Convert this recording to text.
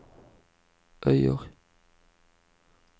Øyer